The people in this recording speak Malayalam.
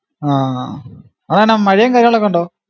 ആ ആഹ് അതാണാ മഴയും കാര്യങ്ങളൊക്കെ ഒണ്ടോ